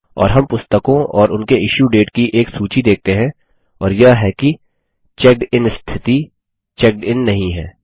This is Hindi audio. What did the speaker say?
और हम पुस्तकों और उनके इश्यू डेट की एक सूची देखते हैं और यह कि चेकडिन स्थिति चेक्ड इन नहीं है